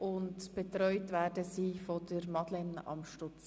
Betreut werden sie von Madeleine Amstutz.